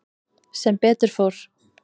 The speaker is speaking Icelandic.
Sem betur fór.